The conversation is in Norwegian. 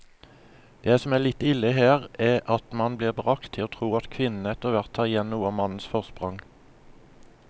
Det som er litt ille her, er at man blir bragt til å tro at kvinnene etterhvert tar igjen noe av mannens forsprang.